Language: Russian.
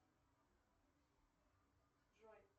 джой